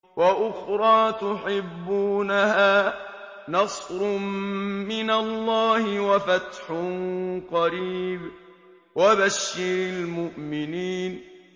وَأُخْرَىٰ تُحِبُّونَهَا ۖ نَصْرٌ مِّنَ اللَّهِ وَفَتْحٌ قَرِيبٌ ۗ وَبَشِّرِ الْمُؤْمِنِينَ